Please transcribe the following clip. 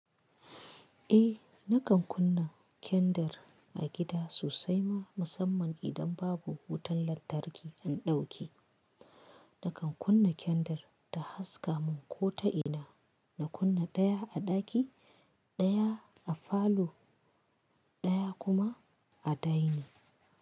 Eh nakan kunna kendir a gida sosai ma musamman idan babu wutan lantarki, an ɗauke. Nakan kunna kendir ta haska mun ko ta ina. Na kunna ɗaya a ɗaki, ɗaya a falo, ɗaya kuma a dining.